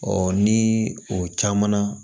ni o caman na